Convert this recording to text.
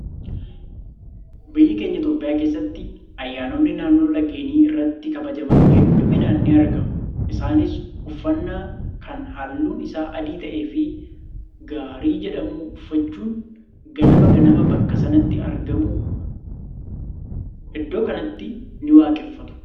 Biyya keenya Itoophiyaa keessatti ayyaanonni naannoo laggeenii irratti kabajaman hedduminaan ni argamu. Isaanis uffannaa kan halluun isaa adii ta'ee fi gaarii jedhamu uffachuun ganama ganama bakka sanatti argamu. Iddoo kanattis ni waaqeffatu